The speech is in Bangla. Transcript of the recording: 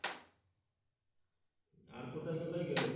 আর কোথায় কোথায় গেলে?